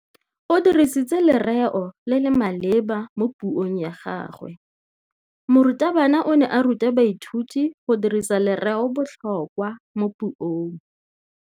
O dirisitse lerêo le le maleba mo puông ya gagwe. Morutabana o ne a ruta baithuti go dirisa lêrêôbotlhôkwa mo puong.